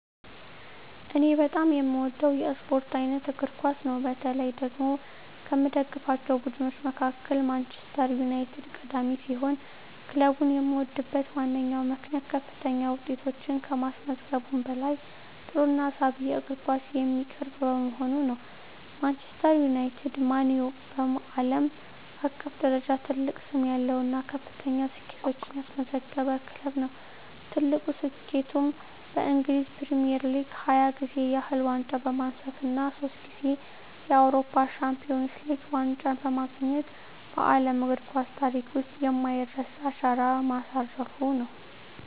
እኔ በጣም የምወደው የስፖርት አይነት እግር ኳስ ነው። በተለይ ደግሞ ከምደግፋቸው ቡድኖች መካከል ማንቸስተር ዩናይትድ ቀዳሚ ሲሆን፣ ክለቡን የምወድበት ዋነኛው ምክንያት ከፍተኛ ውጤቶችን ከማስመዝገቡም በላይ ጥሩና ሳቢ የእግር ኳስ የሚያቀርብ በመሆኑ ነው። ማንቸስተር ዩናይትድ (ማን ዩ) በዓለም አቀፍ ደረጃ ትልቅ ስም ያለው እና ከፍተኛ ስኬቶችን ያስመዘገበ ክለብ ነው። ትልቁ ስኬቱም በእንግሊዝ ፕሪሚየር ሊግ 20 ጊዜ ያህል ዋንጫ በማንሳት እና ሶስት ጊዜ የአውሮፓ ቻምፒየንስ ሊግ ዋንጫን በማግኘት በዓለም እግር ኳስ ታሪክ ውስጥ የማይረሳ አሻራ ማሳረፉ ነው።